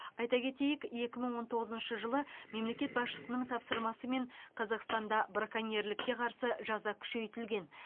айта кетейік екі мың он тоғызыншы жылы мемлекет басшысының тапсырмасымен қазақстанда браконьерлікке қарсы жаза күшейтілген